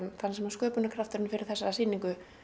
sköpunarkrafturinn fyrir þessari sýningu